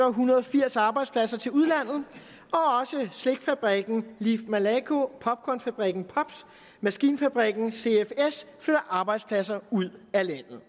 hundrede og firs arbejdspladser til udlandet og også slikfabrikken malaco popcornfabrikken popz og maskinfabrikken cfs flytter arbejdspladser ud af landet